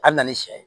A bɛ na ni sɛ ye